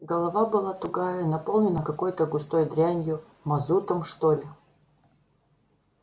голова была тугая наполненная какой-то густой дрянью мазутом что ли